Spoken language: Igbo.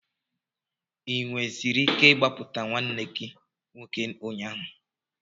Ị nwereziri ike ịgbapụta nwanne gị nwoke ụnyaahụ?